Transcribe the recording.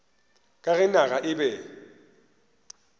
ka ge naga e be